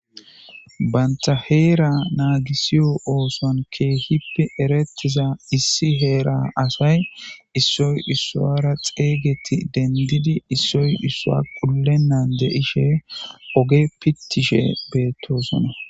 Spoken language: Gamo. Bante heera nagiso oothon keehippe eretiya asay, Issoy isuwara xeygetidi qulletonta dishe oge pittishe beetosona.